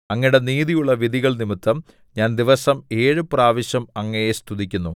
അങ്ങയുടെ നീതിയുള്ള വിധികൾനിമിത്തം ഞാൻ ദിവസം ഏഴു പ്രാവശ്യം അങ്ങയെ സ്തുതിക്കുന്നു